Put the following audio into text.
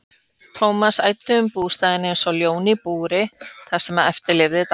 Thomas æddi um bústaðinn einsog ljón í búri það sem eftir lifði dags.